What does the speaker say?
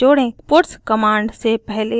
puts command से पहले